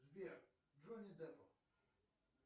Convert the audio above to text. сбер джонни депп